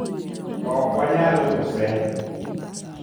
"Okwanyal use".